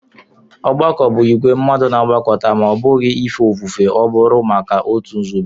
Ọgbakọ bụ ìgwè mmadụ na-agbakọta; ma ọ́ bụghị ife ofufe ọ bụru maka otu nzube